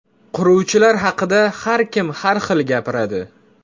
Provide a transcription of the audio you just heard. Quruvchilar haqida har kim har xil gapiradi.